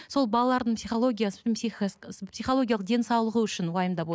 сол балалардың психологиясы психологиялық денсаулығы үшін уайымдап